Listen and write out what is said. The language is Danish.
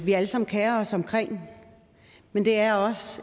vi alle sammen kerer os om men det er også